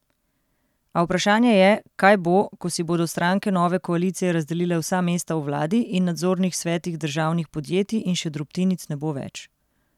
A vprašanje je, kaj bo, ko si bodo stranke nove koalicije razdelile vsa mesta v vladi in nadzornih svetih državnih podjetij in še drobtinic ne bo več...